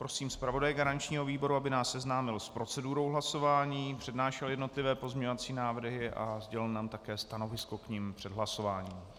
Prosím zpravodaje garančního výboru, aby nás seznámil s procedurou hlasování, přednášel jednotlivé pozměňovací návrhy a sdělil nám také stanovisko k nim před hlasováním.